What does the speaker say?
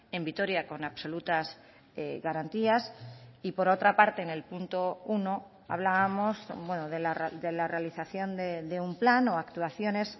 en vitoria con absolutas garantías y por otra parte en el punto uno hablábamos de la realización de un plan o actuaciones